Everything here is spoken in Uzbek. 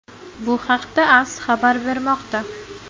Bu haqda AS xabar bermoqda.